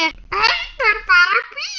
Heldur bara bíða.